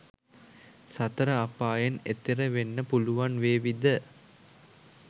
සතර අපායෙන් එතෙර වෙන්න පුළුවන් වේවිද?